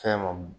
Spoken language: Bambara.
Fɛn ma m